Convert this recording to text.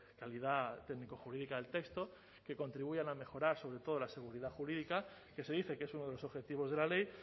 calidad técnico jurídica del texto que contribuyan a mejorar sobre todo la seguridad jurídica que se dice que es uno de los objetivos de la ley